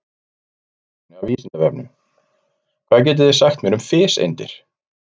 Frekara lesefni af Vísindavefnum: Hvað getið þið sagt mér um fiseindir?